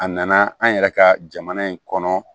A nana an yɛrɛ ka jamana in kɔnɔ